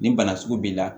Nin bana sugu b'i la